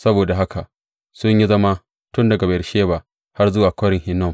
Saboda haka sun yi zama tun daga Beyersheba har zuwa Kwarin Hinnom.